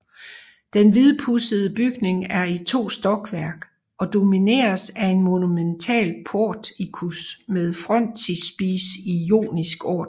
Den hvidpudsede bygning er i to stokværk og domineres af en monumental portikus med frontispice i jonisk orden